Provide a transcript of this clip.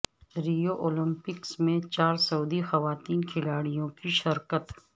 Rio Olympics میں چار سعودی خواتین کھلاڑیوں کی شرکت